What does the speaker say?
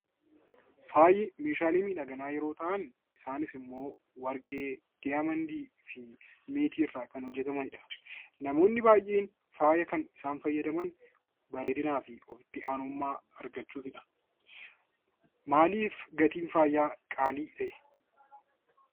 Faayi meeshaalee miidhaginaa yeroo ta'an isaanis immoo warqee, diyaamendii fi meetiirraa kan hojjetamanidha. Namoonni baay'een faaya kana kan isaan fayyadaman bareedinaa fi ofitti amanamummaa argachuufidha. Maaliif gatiin faayaa qaalii ta'e?